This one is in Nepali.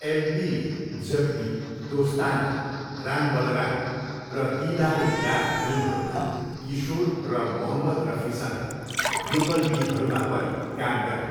एलपीले जख्मी, दोस्ताना, राम बलराम र दिदार ए यार फिल्महरूमा किशोर र मोहम्मद रफीसँग युगल गीतहरूमा पनि काम गरे।